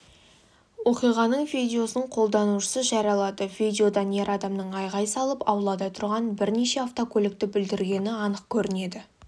оқиғаның видеосын қолданушысы жариялады видеодан ер адамның айғай салып аулада тұрған бірнеше автокөлікті бүлдіргені анық көрінеді